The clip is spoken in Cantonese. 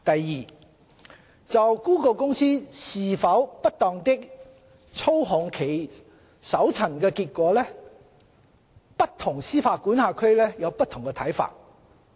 二就谷歌公司是否不當地操控其搜尋結果，不同司法管轄區有不同看法。